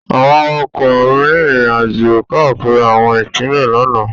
Àwọn awakọ̀ rin ìrìnàjò káàkiri àwọn ipinle lánàá.